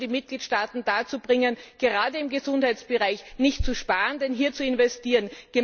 Wir müssen die Mitgliedstaaten dazu bringen, gerade im Gesundheitsbereich nicht zu sparen, sondern hier zu investieren.